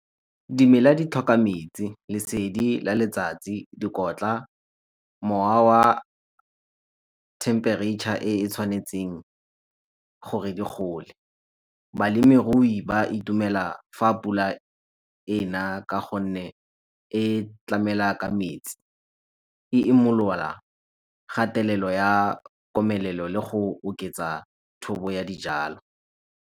Dimela di tlhoka metsi, lesedi la letsatsi, dikotla, mowa wa temperature e e tshwanetseng gore di gole. Balemirui ba itumela fa pula ena ka gonne e tlamela ka metsi, e imolola kgatelelo ya komelelo le go oketsa thobo ya dijalo.